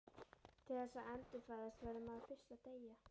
Til þess að endurfæðast verður maður fyrst að deyja.